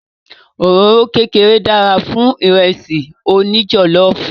Òróró kékeré dára fún Ìrẹ́sì òní jọ̀lọ́ọ̀fù